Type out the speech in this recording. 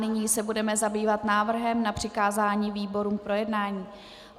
Nyní se budeme zabývat návrhem na přikázání výborům k projednání.